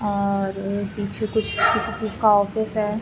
और पीछे कुछ किसी चीज का ऑफिस है।